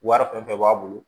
Wari kun fɛn bɛɛ b'a bolo